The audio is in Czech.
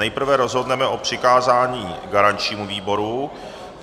Nejprve rozhodneme o přikázání garančnímu výboru.